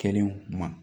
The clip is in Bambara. Kelen ma